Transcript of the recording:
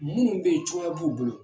Munnu be yen cogoya b'u bolo